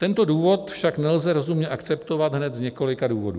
Tento důvod však nelze rozumně akceptovat hned z několika důvodů.